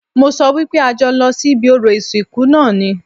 Mo sọ wípé a jọ lọ sí ibi orò ìsìnkú náà ni